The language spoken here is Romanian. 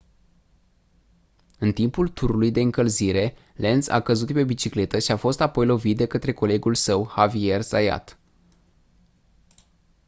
în timpul turului de încălzire lenz a căzut de pe bicicletă și a fost apoi lovit de către colegul său xavier zayat